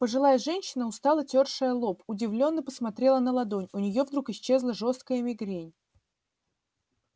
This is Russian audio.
пожилая женщина устало тёршая лоб удивлённо посмотрела на ладонь у неё вдруг исчезла жёстокая мигрень